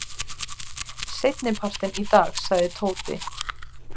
Seinnipartinn í dag sagði Tóti.